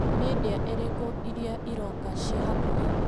Nĩ ndĩa ĩrĩkũ iria iroka ciĩ hakuhĩ ?